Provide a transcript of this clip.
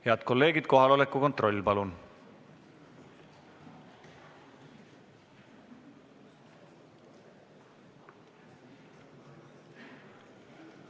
Head kolleegid, kohaloleku kontroll, palun!